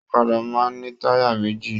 Ọ̀kàdà máa n ni taya méjì.